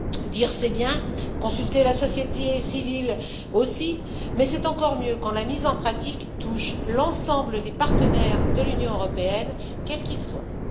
Dire, c'est bien, consulter la société civile aussi, mais c'est encore mieux quand la mise en pratique touche l'ensemble des partenaires de l'Union européenne, quels qu'ils soient.